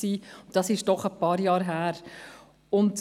Das liegt doch ein paar Jahre zurück.